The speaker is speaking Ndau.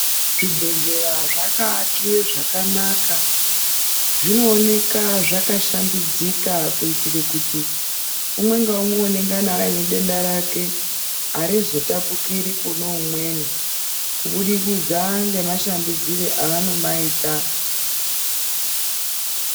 Zvibhedhlera zvakaakiwe zvakanaka. Zvinooneka zvakashambidzika kuitire kuti umwe ngaumwe unengana ainedenda rake harizotapukiri kune umweni. Kuburikidza nemashambidzire avanomaita.